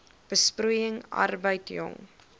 besproeiing arbeid jong